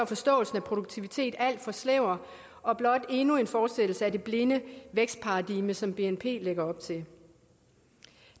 forståelsen af produktivitet alt for snæver og blot endnu en fortsættelse af det blinde vækstparadigme som bnp lægger op til